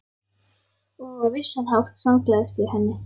Og á vissan hátt samgleðst ég henni.